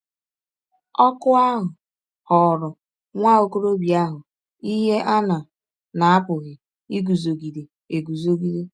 Ọ̀kụ ahụ ghọọrọ nwa ọkọrọbịa ahụ ihe a na na - apụghị iguzogide eguzogide.